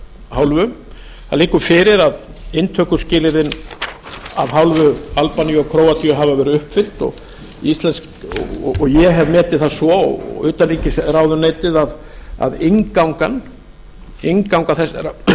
hálfu það liggur fyrir að inntökuskilyrðin af hálfu albaníu og króatíu hafa verið uppfyllt og ég hef metið það svo og utanríkisráðuneytið að innganga þessara